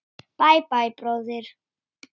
Bæ, bæ, bróðir.